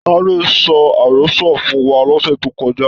Tade sọ àrọ́sọ fún wa lọ̀sẹ̀ tó kọjá.